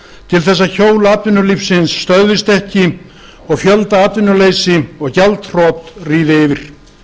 til þess að hjól atvinnulífsins stöðvist ekki og fjöldaatvinnuleysi og gjaldþrot ríði yfir